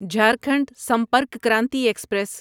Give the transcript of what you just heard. Jharkhand Sampark Kranti express